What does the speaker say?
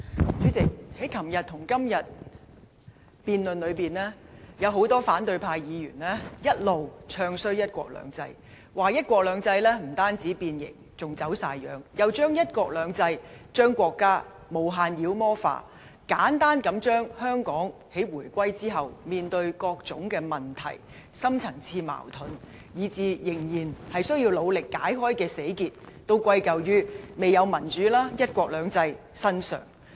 主席，在昨天和今天的辯論中，有很多反對派議員一直"唱衰""一國兩制"，說"一國兩制"不但變形，而且"走晒樣"，又將"一國兩制"、將國家無限妖魔化，簡單地將香港在回歸後面對的各種問題、深層次矛盾，以至仍然需要努力解開的死結，都歸咎於未有民主及"一國兩制"身上。